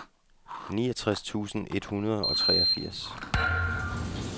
niogtres tusind et hundrede og treogfirs